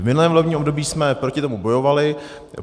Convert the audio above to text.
V minulém volebním období jsme proti tomu bojovali.